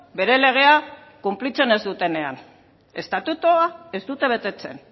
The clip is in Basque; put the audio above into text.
bere legea betetzen ez dutenean estatutua ez dute betetzen